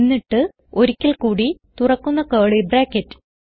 എന്നിട്ട് ഒരിക്കൽ കൂടി തുറക്കുന്ന കർലി ബ്രാക്കറ്റ്